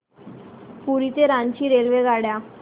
पुरी ते रांची रेल्वेगाड्या